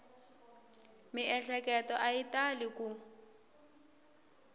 miehleketo a yi tali ku